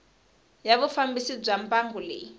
ya vufambisi bya mbangu leyi